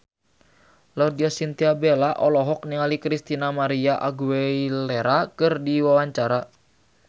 Laudya Chintya Bella olohok ningali Christina María Aguilera keur diwawancara